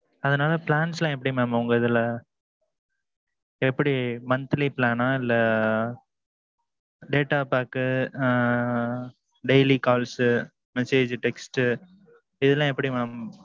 அதனால plans எல்லாம் எப்பிடி mam உங்கதுல எப்பிடி monthly plans இல்ல. data pack ஆஹ் daily calls, message text. இது எல்லாம் எப்பிடி mam.